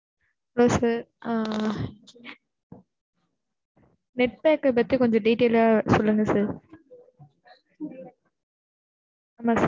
ஆ sir ஆ, net pack பத்தி கொஞ்சம் டீடைல் சொல்லுங்க சார் net work pack பாத்தியா? ஆமா சார்